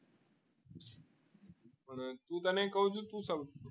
હું તને કહું છું